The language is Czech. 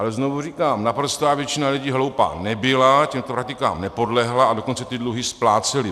Ale znovu říkám, naprostá většina lidí hloupá nebyla, těmto praktikám nepodlehla, a dokonce ty dluhy splácela.